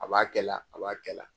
A b'a kɛ la a b'a kɛ la.